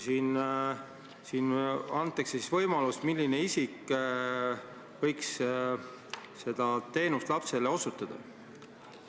Siin antakse võimalus, milline isik võiks seda teenust lapsele osutada.